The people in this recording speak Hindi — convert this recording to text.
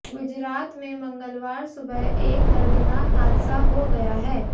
गुजरात में मंगलवार सुबह एक दर्दनाक हादसा हो गया है